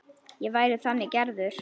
Ég væri þannig gerður.